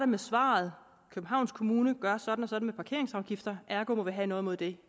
med svaret københavns kommune gør sådan og sådan parkeringsafgifter ergo må vi have noget imod det